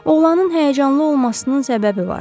Oğlanın həyəcanlı olmasının səbəbi vardı.